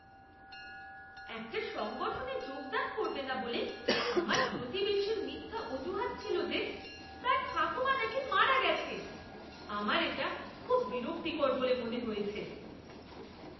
একটা সংগঠনে যোগদান করবে না বলে আমার প্রতিবেশীর মিথ্যা অজুহাত ছিল যে তার ঠাকুমা নাকি মারা গেছে, আমার এটা খুব বিরক্তিকর বলে মনে হয়েছে।